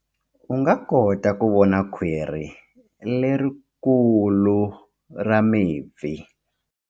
U nga kota ku vona khwiri lerikulu ra mipfi.